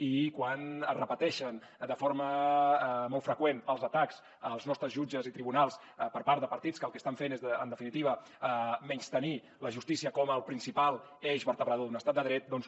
i quan es repeteixen de forma molt freqüent els atacs als nostres jutges i tribunals per part de partits que el que estan fent és en definitiva menystenir la justícia com el principal eix vertebrador d’un estat de dret doncs